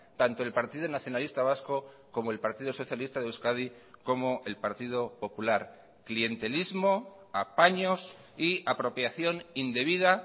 tanto el partido nacionalista vasco como el partido socialista de euskadi como el partido popular clientelismo apaños y apropiación indebida